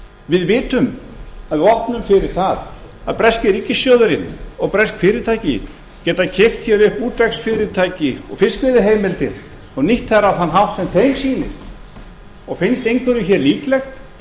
við vitum að við opnum fyrir það að breski ríkissjóðurinn og bresk fyrirtæki geti keypt hér upp útvegsfyrirtæki og fiskveiðiheimildir og nýtt þær á þann hátt sem þeim sýnist og finnst einhverjum hér líklegt